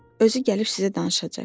Özü gəlib sizə danışacaq.